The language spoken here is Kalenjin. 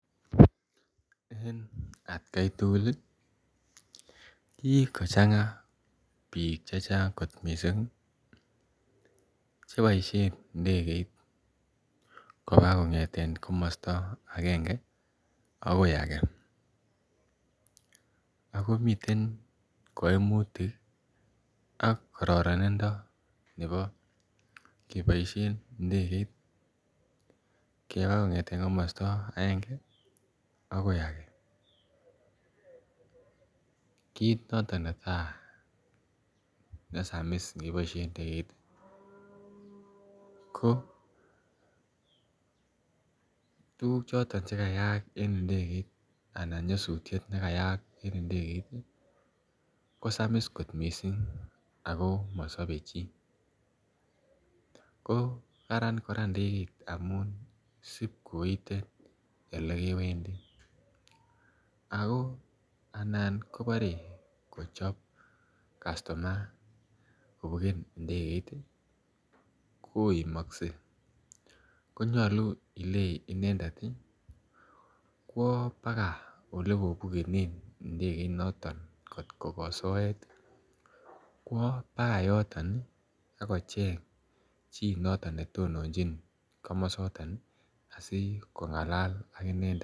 En atkai tugul ii kikochang biik chechang kot missing cheboisien ndegeit kobaa kong'eten komosta agenge akoi age. ako miten koimutik ii ak kororonindo nebo keboisien ndegeit kebaa kong'eten komosto agenge akoi age, kit noto netaa nesamis ngeboisien ndegeit ko tuguk choton chekayaa en ndegeit anan nyosutiet nekayaak en ndegeit kosamis kot missing ako mosobe chii, koo karan kora ndegeit amun sipkoite ole kewendi ako anan kobore kochop kastuma kobuken ndegeit ii koimokse, konyolu ile inendet kwo bakaa olekobukenen ndegeinoton ngot ko soet kwo bakaa yoton akocheng chi noton netononjin komosaton asikong'alal ak inendet.